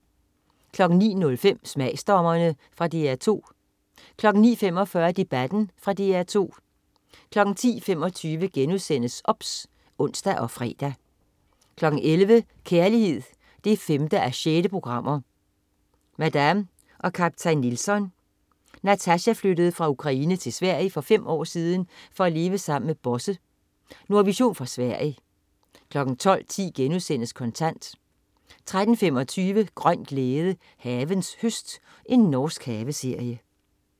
09.05 Smagsdommerne. Fra DR 2 09.45 Debatten. Fra DR 2 10.25 OBS* (ons og fre) 11.00 Kærlighed 5:6. Madame og kaptajn Nilsson. Natasja flyttede fra Ukraine til Sverige for fem år siden for at leve sammen med Bosse. Nordvision fra Sverige 12.10 Kontant* 13.25 Grøn glæde. Havens høst. Norsk haveserie